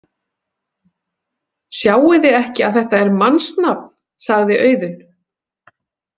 Sjáiði ekki að þetta er mannsnafn, sagði Auðunn.